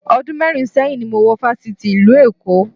Ọdún mẹ́rin sẹ́yìn ni mo wọ Fáṣítì ìlú Èkó